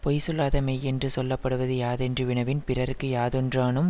பொய் சொல்லாத மெய்யென்று சொல்ல படுவது யாதென்று வினவின் பிறர்க்கு யாதொன்றானும்